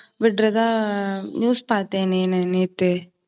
விடுறதா news பாத்தேன் நேத்து